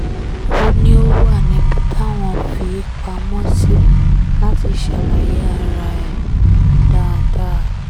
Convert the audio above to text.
ó ní ó wà níbi táwọn fi í pamọ́ sí láti ṣàlàyé ara ẹ̀ dáadáa